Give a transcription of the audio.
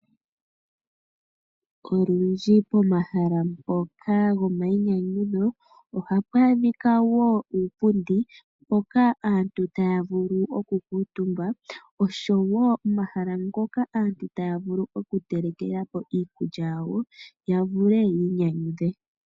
Olundji pomahala mpoka gomayinyanyudho ohapu adhikwa wo uupundi, mpoka aantu taya vulu okukutumba. Oshowo omahala ngoka aantu taya vulu okutelekela po iikulya yawo, ya vule yiinyanyudhe.